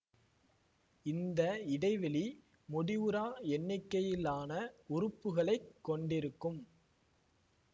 இந்த இடைவெளி முடிவுறா எண்ணிக்கையிலான உறுப்புகளைக் கொண்டிருக்கும்